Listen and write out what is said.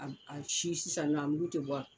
A si sisan nɔ a mugu tɛ bɔ